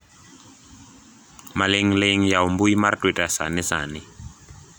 maling'ling yaw mbui mar twita sani sani